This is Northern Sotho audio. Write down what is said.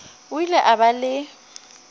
o ile a ba le